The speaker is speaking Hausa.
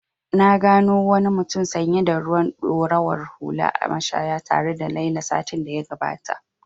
Na gano wani mutum sanye da ruwan ɗorawar hula a mashaya tare da Laila satin da ya gabata.